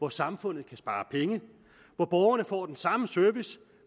at samfundet kan spare penge at borgerne får den samme service